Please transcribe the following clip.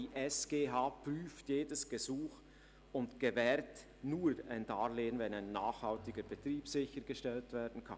Diese prüft jedes Gesuch und gewährt nur ein Darlehen, wenn ein nachhaltiger Betrieb sichergestellt werden kann.